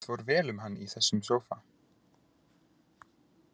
Það fór vel um hann í þessum sófa.